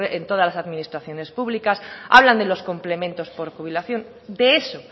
en todas las administraciones públicas hablan de los complementos por jubilación de eso